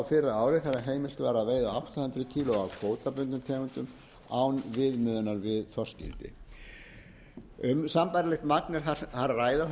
fyrra ári þegar heimilt var að veiða átta hundruð kílógramm af kvótabundnum tegundum án viðmiðunar við þorskígildi um sambærilegt magn er þar að ræða